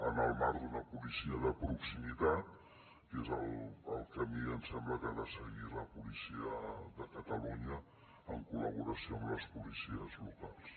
en el marc d’una policia de proximitat que és el camí em sembla que ha de seguir la policia de catalunya en col·laboració amb les policies locals